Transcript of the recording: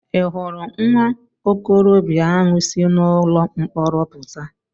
I hụrụ nwa okorobịa ahụ si ụlọ mkpọrọ pụta?